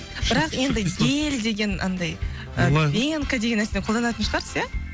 бірақ енді гель деген андай ы пенка деген нәрсені қолданатын шығарсыз ия